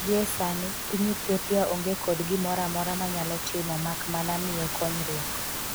gi e sani, piny Ethiopia onge kod gimoro amora manyalo timo mak mana miye konyruok.